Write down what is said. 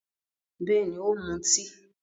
Bẹ́ẹ̀ni, ó ń mutí.